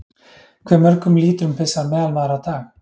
Hve mörgum lítrum pissar meðalmaður á dag?